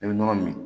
I bɛ nɔnɔ min